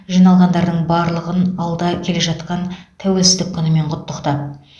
жиналғандардың барлығын алда келе жатқан тәуелсіздік күнімен құттықтап